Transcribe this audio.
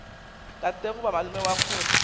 tate goba malome wa kgole